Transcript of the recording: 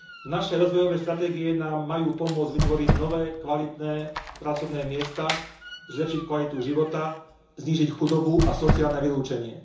Naše rozvojové stratégie nám majú pomôcť vytvoriť nové kvalitné pracovné miesta, zlepšiť kvalitu života, znížiť chudobu a sociálne vylúčenie.